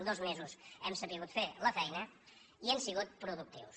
amb dos mesos hem sabut fer la feina i hem sigut productius